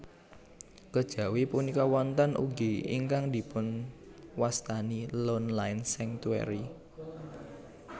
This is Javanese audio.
Kejawi punika wonten ugi ingkang dipunwastani Lone Line Sanctuary